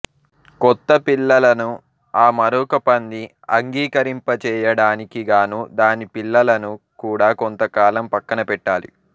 కొత్తపిల్లలను ఆ మరొక పంది అంగీకరింపచేయడానికిగానూ దానిపిల్లలను కూడా కొంతకాలం పక్కనపెట్టాలి